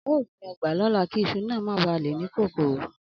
Ao gbin ogba lola ki iṣu ma baa le kokoro